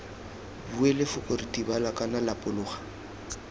bue lefoko ritibala kana lapologa